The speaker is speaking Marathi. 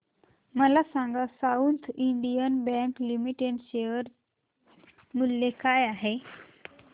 मला सांगा साऊथ इंडियन बँक लिमिटेड चे शेअर मूल्य काय आहे